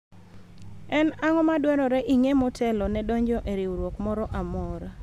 en ang'o madwarore ing'e motelo ne donjo e riwruok moro amora ?